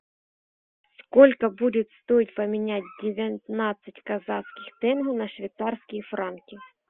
сколько будет стоить поменять девятнадцать казахских тенге на швейцарские франки